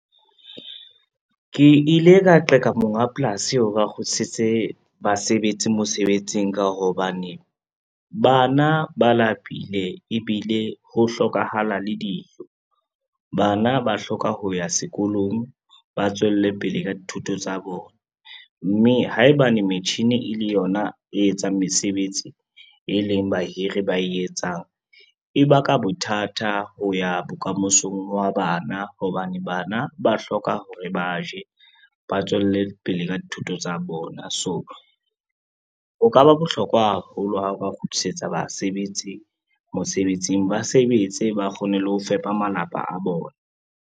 Ke ile ka qeka monga polasi hore a kgutlisetse basebetsi mosebetsing ka hobane, bana ba lapile ebile ho hlokahala le dijo. Bana ba hloka ho ya sekolong, ba tswelle pele ka dithuto tsa bona, mme haebane metjhini e le yona e etsang mesebetsi, e leng bahiri ba e etsang, e baka bothata ho ya bokamosong ba bana hobane bana ba hloka hore ba je, ba tswele pele ka dithuto tsa bona. So ho ka ba bohlokwa haholo ha o ka kgutlisetsa basebetsi mosebetsing ba sebetse, ba kgone le ho fepa malapa a bona.